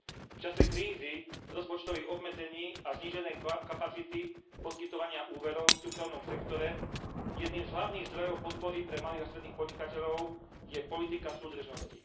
V čase krízy, rozpočtových obmedzení a zníženej kapacity poskytovania úverov v súkromnom sektore jedným z hlavných zdrojov podpory pre malých a stredných podnikateľov je politika súdržnosti.